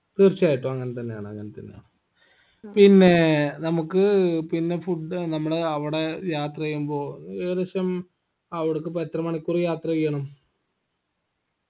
തീർച്ചയായിട്ടും അങ്ങൻതന്നെയാണ് അങ്ങൻതന്നെയാണ് പിന്നേ നമ്മക്ക് പിന്നെ food നമ്മളെ അവടെ യാത്രെയ്യുമ്പോ ഏകദേശം അവിടക്കിപ്പോ എത്ര മണിക്കൂർ യാത്രെയ്യണം